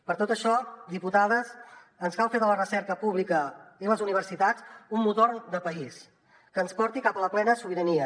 per tot això diputades ens cal fer de la recerca pública i les universitats un motor de país que ens porti cap a la plena sobirania